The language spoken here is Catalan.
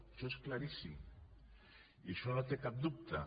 això és claríssim i això no té cap dubte